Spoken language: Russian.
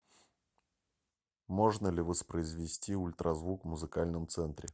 можно ли воспроизвести ультразвук в музыкальном ценре